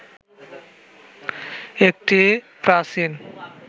একটি প্রাচীন